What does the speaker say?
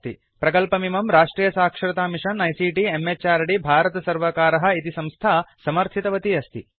प्रकल्पमिमं राष्ट्रियसाक्षरतामिषन आईसीटी म्हृद् भारतसर्वकारः इत् संस्था समर्थितवती अस्ति